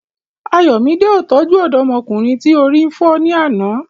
Ayomide ó tọ́jú ọ̀dọ́mọkùnrin tí orí fọ́ ní àná.